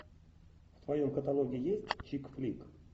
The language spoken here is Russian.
в твоем каталоге есть чик клик